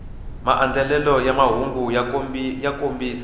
maandlalelo ya mahungu ya kombisa